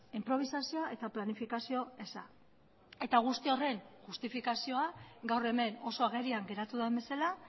inprobisazioa eta planifikazio eza eta guzti horren justifikazioa gaur hemen oso agerian geratu den bezala